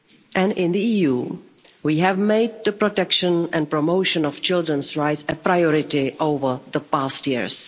And in the EU we have made the protection and promotion of children's rights a priority over the past years.